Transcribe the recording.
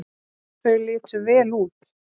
Þau litu vel út.